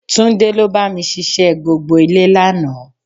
Túndé ló bá mi ṣiṣẹ́ gbogbo ilé lánàá